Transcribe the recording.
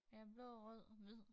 Ja blå rød hvid